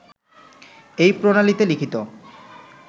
এই প্রণালীতে লিখিত